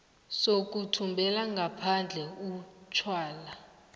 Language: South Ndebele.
sokuthumela ngaphandle utjwala